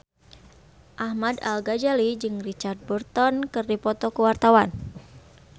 Ahmad Al-Ghazali jeung Richard Burton keur dipoto ku wartawan